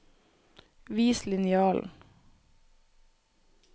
Vis linjalen